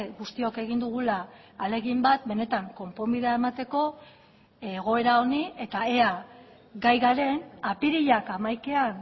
guztiok egin dugula ahalegin bat benetan konponbidea emateko egoera honi eta ea gai garen apirilak hamaikaan